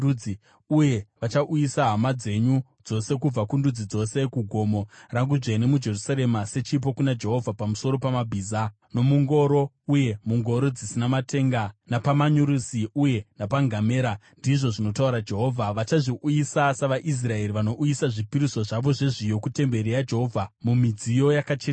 Uye vachauyisa hama dzenyu dzose, kubva kundudzi dzose, kugomo rangu dzvene muJerusarema, sechipo kuna Jehovha, pamusoro pamabhiza, nomungoro uye mungoro dzina matenga, napamanyurusi uye napangamera,” ndizvo zvinotaura Jehovha. “Vachazviuyisa, savaIsraeri vanouyisa zvipiriso zvavo zvezviyo, kutemberi yaJehovha mumidziyo yakacheneswa.